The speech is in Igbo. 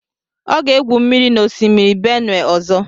Ọ ga-egwu mmiri n'osimiri Benue ọzọ.